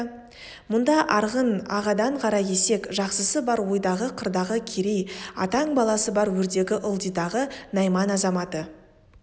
мұнда арғын ағадан қаракесек жақсысы бар ойдағы қырдағы керей атаң баласы бар өрдегі ылдидағы найман азаматы